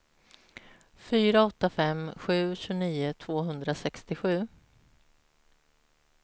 fyra åtta fem sju tjugonio tvåhundrasextiosju